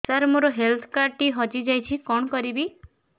ସାର ମୋର health card ଟି ହଜି ଯାଇଛି କଣ କରିବି